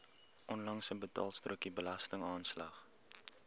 onlangse betaalstrokie belastingaanslag